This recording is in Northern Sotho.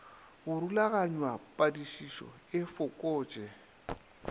go rulaganywa padišišo e fokotše